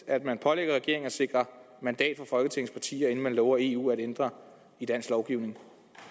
at man pålægger regeringen at sikre mandat fra folketingets partier inden man lover eu at ændre i dansk lovgivning